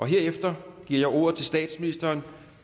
herefter giver jeg ordet til statsministeren